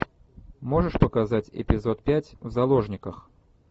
можешь показать эпизод пять в заложниках